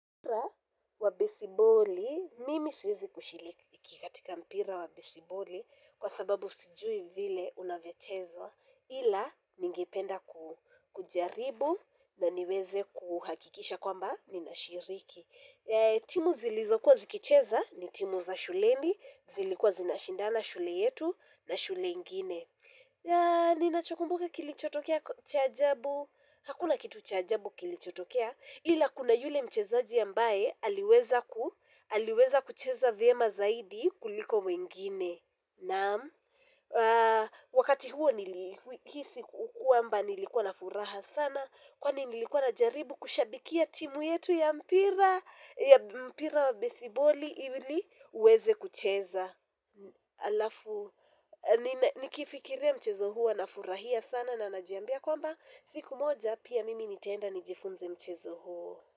Mpira wa besiboli, mimi siwezi kushiliki katika mpira wa besiboli kwa sababu sijui vile unavyochezwa ila ningependa ku kujaribu na niweze kuhakikisha kwamba ninashiriki. Timu zilizokuwa zikicheza ni timu za shuleni, zilikuwa zinashindana shule yetu na shule ingine yaa. Ninachokumbuka kilichotokea cha ajabu hakuna kitu cha ajabu kilichotokea ila kuna yule mchezaji ambaye aliweza ku aliweza kucheza vyema zaidi kuliko wengine naam wakati huo nilihisi kwamba nilikuwa na furaha sana kwani nilikuwa najaribu kushabikia timu yetu ya mpira ya mpira wa besiboli ili uweze kucheza. Alafu ninen. Nikifikiria mchezo huo nafurahia sana na najiambia kwamba siku moja pia mimi nitaenda nijifunze mchezo huo.